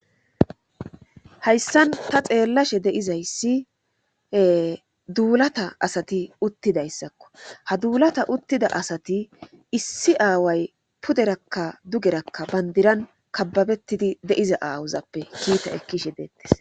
hayssan ta xeellashe deizayssie duulata asati uttidayssakko ha duulata uttida asati issi aaway puderakka dugerakka bandiran kababettidi deiza aawozappe kiita ekkishe deettes